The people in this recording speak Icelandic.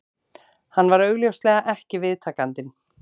Hann var augljóslega ekki viðtakandinn